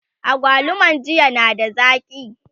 agwaluman jiya na da zaki?